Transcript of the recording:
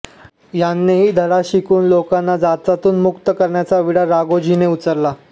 यांनाही धडा शिकवून लोकांना जाचातून मुक्त करण्याचा विडा राघोजीने उचलला